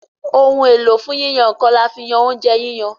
Ohun èlò fún yíyan nǹkan, là fí yán oúnjẹ yíyan.